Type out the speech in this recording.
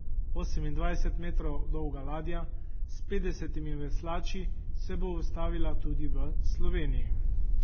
Osemindvajset metrov dolga ladja s petdesetimi veslači se bo ustavila tudi v Sloveniji.